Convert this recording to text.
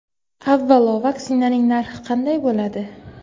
Avvalo, vaksinaning narxi qanday bo‘ladi?